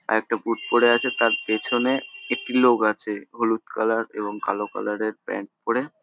একটা বুট পরে আছে তার পিছনে একটি লোক আছে হলুদ কালার এবং কালো কালার -এর প্যান্ট পরে ।